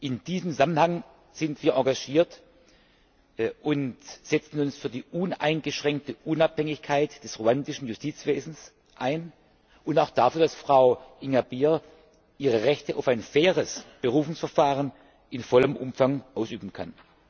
In diesem Zusammenhang sind wir engagiert und setzen uns für die uneingeschränkte Unabhängigkeit des ruandischen Justizwesens ein und auch dafür, dass Frau Ingabire ihre Rechte auf ein faires Berufungsverfahren in vollem Umfang ausüben kann.